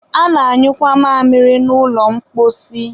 a na-anyụkwa mamịrị na ụlọ mposi